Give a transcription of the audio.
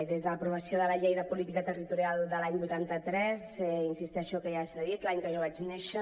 des de l’aprovació de la llei de política territorial de l’any vuitanta tres insisteixo que ja s’ha dit l’any que jo vaig néixer